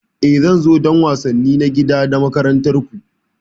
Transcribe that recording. E, zan zo don wasanni na gida na makarantar ku.